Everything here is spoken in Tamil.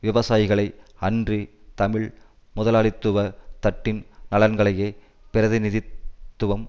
விவசாயிகளை அன்றி தமிழ் முதலாளித்துவ தட்டின் நலன்களையே பிரதிநிதித்துவம்